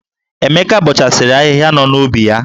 Emeka bọchasịrị ahịhịa nọ n'ubi ya.